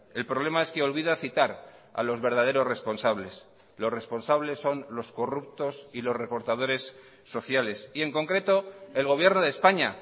el problema es que olvida citar a los verdaderos responsables los responsables son los corruptos y los recortadores sociales y en concreto el gobierno de españa